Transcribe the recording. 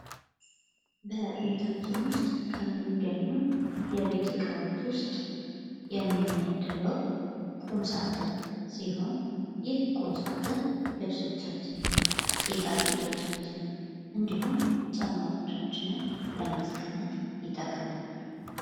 በቤታችን ውስጥ ከሚገኙ የቤት እቃዎች የሚመደበው ቁም ሳጥን ሲሆን ይህ ቁም ሳጥን ልብሶቻችንን ጌጣጌጦቻችንን እንዲሁም ጫማዎቻችንን ለማሰቀመጥ ይጠቅመናል።